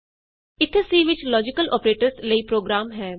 ਇਥੇ ਸੀ ਵਿਚ logical operators ਲਈ ਪ੍ਰੋਗਰਾਮ ਹੈ